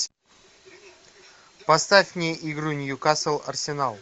поставь мне игру ньюкасл арсенал